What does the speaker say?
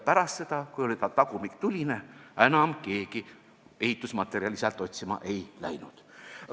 Pärast seda, kui ta tagumik oli tuline, enam keegi ehitusmaterjali sealt otsima ei läinud.